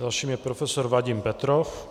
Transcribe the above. Dalším je profesor Vadim Petrov.